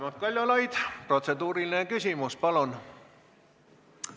Raimond Kaljulaid, protseduuriline küsimus, palun!